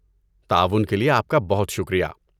تعاون کے لیے آپ کا بہت شکریہ۔